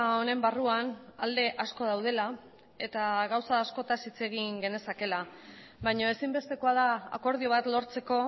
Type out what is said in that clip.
honen barruan alde asko daudela eta gauza askotaz hitz egin genezakeela baina ezinbestekoa da akordio bat lortzeko